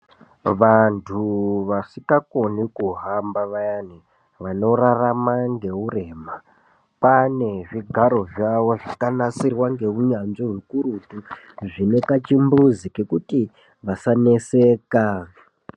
Vantu vasikakona kuhamba vayani vanorarama ngeurema kwaane zvigaro zvavo zvakanasirwa ngeunyanzvi ukurutu zvinekachimbuzi kekuti vasaneseka.